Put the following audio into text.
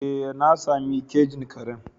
Ee na sami kejin karen.